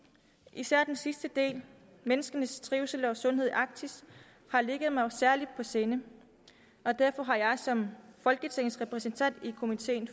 især den sidste del menneskenes trivsel og sundhed i arktis har ligget mig særligt på sinde derfor har jeg som folketingets repræsentant i komitéen